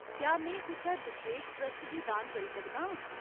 क्या में कुसै बशेश ट्रस्ट गी दान करी सकदा आं ?